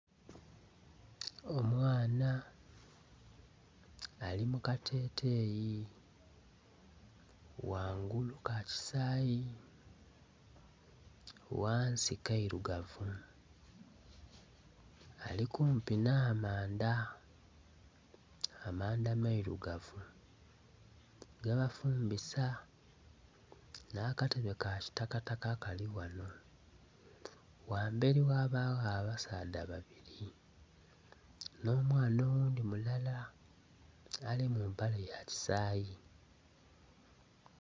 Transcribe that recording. Omwana ari mukateteyi ghanguru kakisaayi ghansi kayilugavu ari kumpi n'amanda , Amanda mayilugavu gebafumbisa nakatebe kakitakataka Kali wano wamberi ghabaawo abasadha babiri n'omwana owundi mulala ari mumpale yakisaayi .